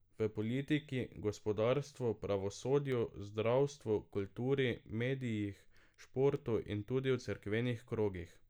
V politiki, gospodarstvu, pravosodju, zdravstvu, kulturi, medijih, športu in tudi v cerkvenih krogih.